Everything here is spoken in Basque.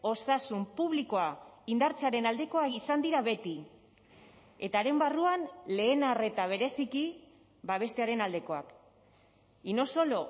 osasun publikoa indartzearen aldekoa izan dira beti eta haren barruan lehen arreta bereziki babestearen aldekoak y no solo